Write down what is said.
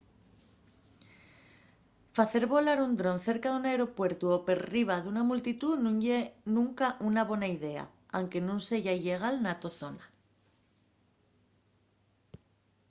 facer volar un dron cerca d’un aeropuertu o perriba d’una multitú nun ye nunca una bona idea anque nun seya illegal na to zona